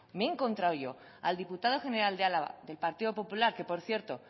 me he encontrado yo al diputado general de álava del partido popular que por cierto